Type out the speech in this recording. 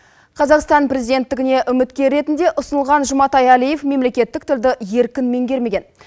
қазақстан президенттігіне үміткер ретінде ұсынылған жұматай алиев мемлекеттік тілді еркін меңгермеген